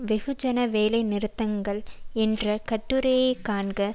வெகு ஜன வேலை நிறுத்தங்கள் என்ற கட்டுரையைக் காண்க